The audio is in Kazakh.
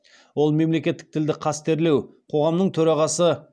ол мемлекеттік тілді қастерлеу қоғамының төрағасы